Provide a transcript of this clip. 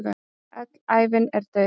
Öll ævin er dauði.